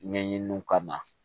Ɲɛɲiniw kama